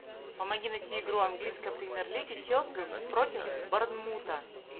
помоги найти игру английской премьер лиги челси против борнмута